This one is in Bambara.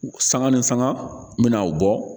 Sanga ni sanga n'aw bɔ